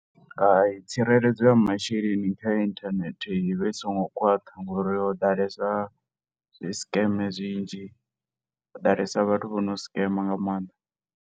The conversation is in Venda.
Hai, tsireledzo ya masheleni kha inthanethe i vha i songo khwaṱha ngo uri ho ḓalesa zwi scam zwinzhi, ho ḓalesa vhathu vho no scam nga maanḓa.